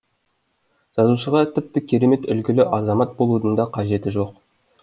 жазушыға тіпті керемет үлгілі азамат болудың да қажеті жоқ